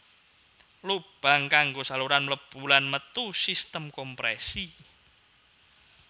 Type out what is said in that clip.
Lubang kanggo saluran mlebu lan metu sistem komprèsi